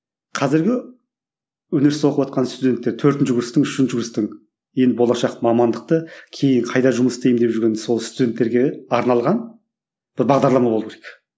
қазіргі өнерсіз оқыватқан студенттер төртінші курстың үшінші курстың енді болашақ мамандықты кейін қайда жұмыс істеймін деп жүрген сол студенттерге арналған бір бағдарлама болу керек